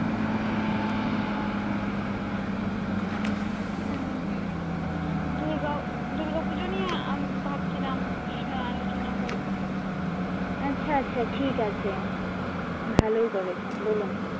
উম দুর্গা পূজো নিয়ে ভাবছিলাম আলোচনা করবো। আচ্ছা আচ্ছা ঠিক আছে ভালোই করেছেন বলুন।